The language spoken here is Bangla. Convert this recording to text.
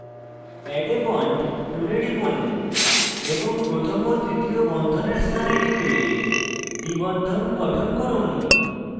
add a bond tool টিপুন এবং প্রথম ও তৃতীয় বন্ধনের স্থানে টিপে দ্বিবন্ধন গঠন করুন